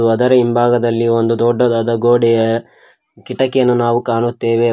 ಅದರ ಹಿಂಭಾಗದಲ್ಲಿ ಒಂದು ದೊಡ್ಡದಾದ ಗೋಡೆಯ ಕಿಟಕಿಯನ್ನು ನಾವು ಕಾಣುತ್ತೆವೆ ವ--